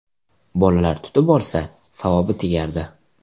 Bolalar tutib olsa, savobi tegardi.